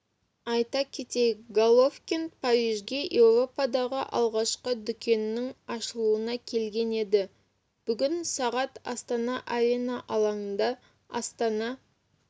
айта кетейік головкин парижге еуропадағы алғашқы дүкенінің ашылуына келген еді бүгін сағат астана арена алаңында астана